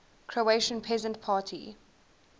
croatian peasant party